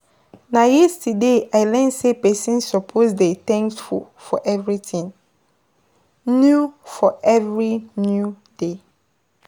Na yesterday I learn sey pesin suppose dey thankful for everything new for every new day.